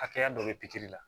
Hakɛya dɔ de bɛ pikiri la